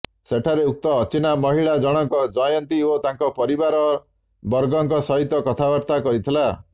ସେଠାରେ ଉକ୍ତ ଅଚିହ୍ନା ମହିଳା ଜଣକ ଜୟନ୍ତୀ ଓ ତାଙ୍କ ପରିବାର ବର୍ଗଙ୍କ ସହିତ କଥାବାର୍ତ୍ତା କରିଥିଲା